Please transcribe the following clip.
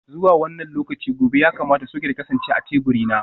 Zuwa wannan lokaci gobe ya kamata soket ya kasance a teburina.